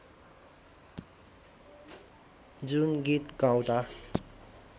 जुन गीत गाउँदा